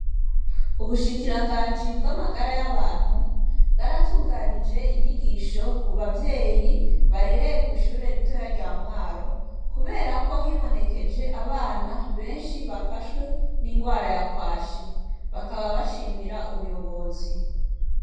Ubushikiranganji bw' amagara y'abantu, bwaratunganije inyigisho ku bavyeyi barereye kw' ishuri ritoya rya Mwaro, kubera ko hibonekeje abana benshi bafashwe n' ingwara ya kwashi . Bakaba bashimira ubuyobozi.